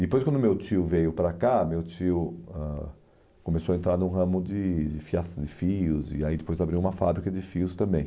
Depois, quando meu tio veio para cá, meu tio ãh começou a entrar num ramo de de fiaça de fios e aí depois abriu uma fábrica de fios também.